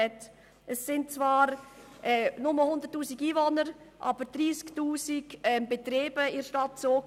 Im Kanton Zug wohnen zwar nur 100 000 Einwohner, aber in der Stadt Zug gibt es 30 000 Betriebe.